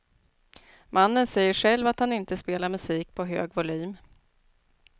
Mannen säger själv att han inte spelar musik på hög volym.